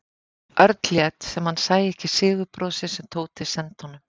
Örn lét sem hann sæi ekki sigurbrosið sem Tóti sendi honum.